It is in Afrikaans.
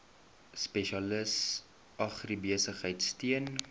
spesialis agribesigheid steun